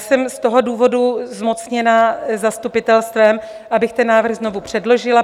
Jsem z toho důvodu zmocněna zastupitelstvem, abych ten návrh znovu předložila.